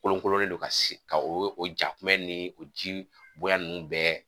Kolokololen don ka se ka o jakuma ni o ji bonya ninnu bɛɛ